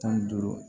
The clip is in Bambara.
Tan ni duuru